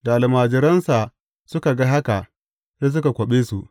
Da almajiransa suka ga haka, sai suka kwaɓe su.